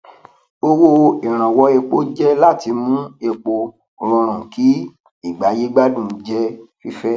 owó ìrànwọ epo jẹ láti mú epo rọrùn kí ìgbáyé gbádùn jẹ fífẹ